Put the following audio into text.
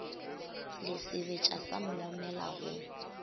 le sebetša sa moomela go